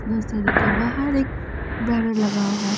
nursery के बाहर एक बैनर लगा हुआ--